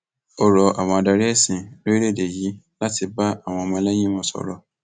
ó rọ àwọn adarí ẹsìn lórílẹèdè yìí láti bá àwọn ọmọlẹyìn wọn sọrọ